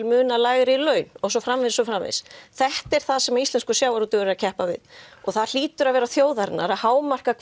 muna lægri laun og svo framvegis svo framvegis þetta er það sem íslenskur sjávarútvegur er að keppa við og það hlýtur að vera þjóðarinnar að hámarka